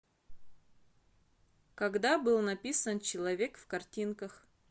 когда был написан человек в картинках